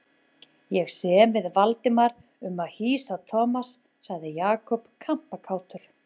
Ég sem við Valdimar um að hýsa Thomas sagði Jakob kampakátur.